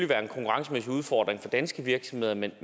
være en konkurrencemæssig udfordring for danske virksomheder men